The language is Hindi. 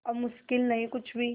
अब मुश्किल नहीं कुछ भी